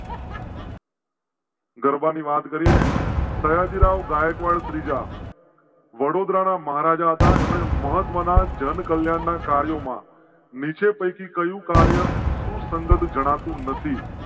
ગરબા ની વાત કરી ને સયાજીરાવ ગાયકવાડ ત્રીજા. વડોદરા ના મહારાજા હતા. એમ ને મહત્ત્વ ના જનકલ્યાણ ના કાર્યો માં નીચે પૈકી કહ્યું. કાર્ય સુસંગત જણા તું નથી